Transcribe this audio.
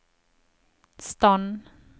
stand